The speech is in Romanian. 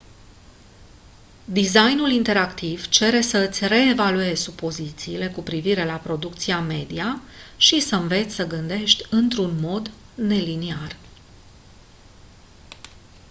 designul interactiv cere să îți reevaluezi supozițiile cu privire la producția media și să înveți să gândești într-un mod neliniar